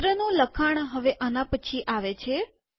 પત્રનું લખાણ હવે આના પછી આવે છે